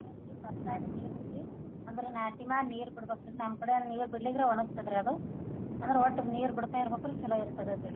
ಏನ್ರಿ ಬತ್ತಾಗ್ ನೀರೇನ್ರಿ ಅಂದ್ರ ನಾಟಿ ಮಾಡಿ ನೀರ ಬಿಡ್ಬೇಕ. ನಮ್ಮ್ ಕಡೆ ನೀರ ಬಿಡ್ಲಿಕ್ಕ್ರ ಒಣಗತದರಿ ಅದು ಅಂದ್ರ ಒಟ್ಟ ನೀರ ಬಿಡ್ತಾ ಇರ್ಬೇಕರಿ ಚಲೋ ಇರ್ತದ ಅದ.